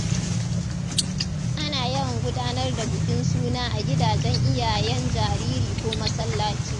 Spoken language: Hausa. Ana yawan gudanar da bukin suna a gidajen iyayen jariri ko masallaci.